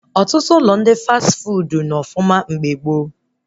Ọtụtụ ụlọ ndị fas fuudu nọ ọfụma mgbe gboo